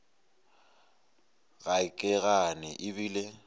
ga ke gane e bile